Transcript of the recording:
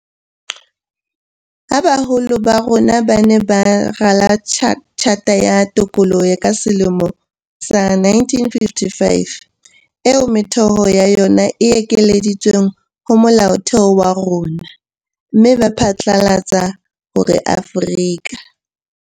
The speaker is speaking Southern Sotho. Ha baholo ba rona ba ne ba rala Tjhata ya Tokoloho ka selemo sa 1955, eo metheo ya yona e kenyeleditsweng ho Molaotheo wa rona, mme ba phatlalatsa hore Afrika